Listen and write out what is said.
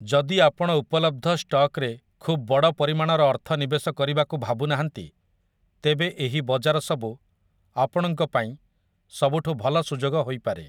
ଯଦି ଆପଣ ଉପଲବ୍ଧ ଷ୍ଟକ୍‌ରେ ଖୁବ୍ ବଡ଼ ପରିମାଣର ଅର୍ଥ ନିବେଶ କରିବାକୁ ଭାବୁନାହାନ୍ତି, ତେବେ ଏହି ବଜାର ସବୁ ଆପଣଙ୍କ ପାଇଁ ସବୁଠୁ ଭଲ ସୁଯୋଗ ହୋଇପାରେ ।